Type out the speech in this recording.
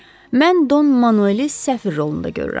Mən Don Manueli səfir rolunda görürəm.